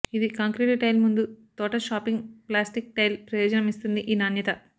ఇది concrete tile ముందు తోట ప్లాషింగ్ ప్లాస్టిక్ టైల్ ప్రయోజనం ఇస్తుంది ఈ నాణ్యత